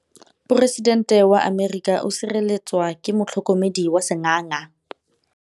Poresitêntê wa Amerika o sireletswa ke motlhokomedi wa sengaga.